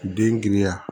Den giriya